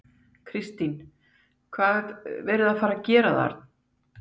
Kristín: Og hvað er verið að fara að gera þar?